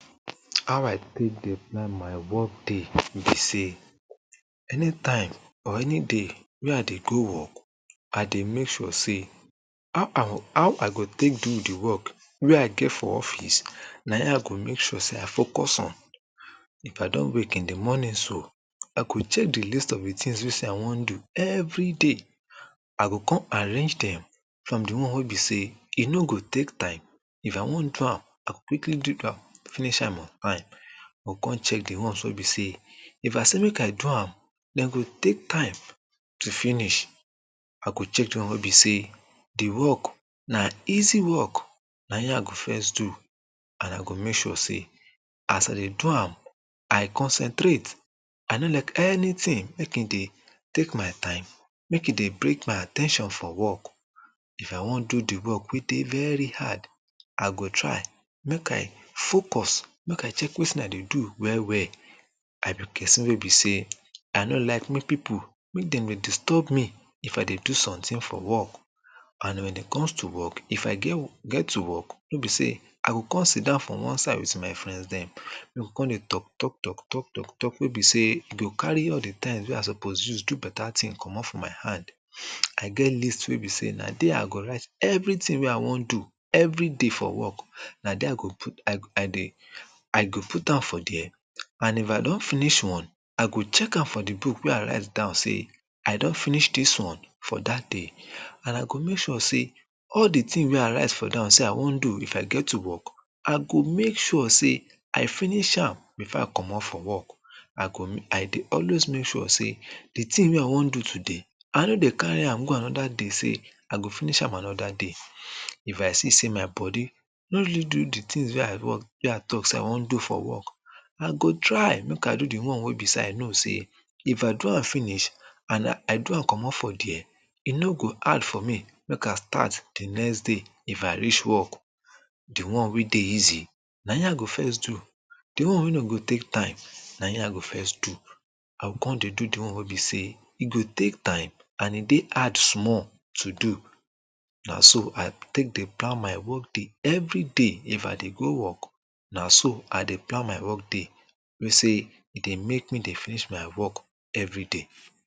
How I take dey plan my work day wey be sey anytime or any day wey I dey go work, I dey make sure sey how I go take do de work wey I get for office na him I go make sure sey I focus on If I don wake in de morning so I go check de list of de tins wey sey I want do everyday I go come arrange dem from de one wey be sey e no go take time If I want do am, I go quickly do am finish am on time I go come check de ones wey be sey if I say make I do am dem go take time to finish I go check de ones wey be sey de work na easy work na him I go first do and I go make sure sey as I dey do am, I concentrate I no like anytin make e dey take my time make e dey break my at ten tion for work If I want do de work wey dey very hard I go try make I focus, make I take wetin I dey do well well I be person wey be sey I no like make people make dem dey disturb me If I dey do sometin for work and wen it comes to work, if I get to work wey be sey I go come siddown for one side wit my friends dem we go come dey talk talk talk wey be sey e go carry all de time wey I suppose use do beta tin comot for my hand I get list wey be sey na dey I go write everytin wey I want do everyday for work na dey I dey I go put am for dey and if I don finish one, I go check am for de book wey I write down sey I don finish dis one for dat day and I go make sure sey all de tins wey I write for down sey I want do if I get to work, I go make sure sey I finish am before I comot for work I dey always make sure sey de tin wey I want do today I no dey carry am go anoda day say I go finish am anoda day If I see sey my body no really do de tins wey I talk sey I want do for work I go try make I do de one wey be sey I know sey If I do am finish and I do am comot for dey e no go hard for me make I start de next day if I reach work de one wey dey easy na him I go first do de one wey no go take time na him I go first do I go come dey do de one wey be sey e go take time and e dey hard small to do na so I take dey plan my whole everyday if I go to work na so I dey plan my work day wey be sey e dey make me dey finish my work everyday